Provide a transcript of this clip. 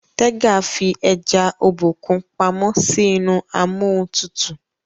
Tega fí eja Obokun pàmò sí inú Amóhuntutù.